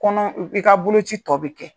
Kɔnɔ i ka boloko ci tɔ bi kɛ.